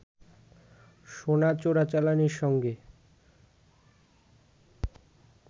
সোনা চোরাচালানির সঙ্গে